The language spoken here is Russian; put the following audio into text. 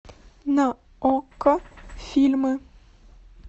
на окко фильмы